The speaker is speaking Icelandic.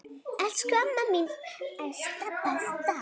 Elsku amma mín Esta besta.